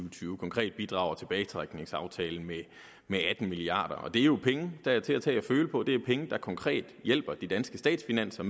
og tyve konkret bidrager tilbagetrækningsaftalen med atten milliard kr og det er jo penge der er til at tage at føle på det er penge der konkret hjælper på de danske statsfinanser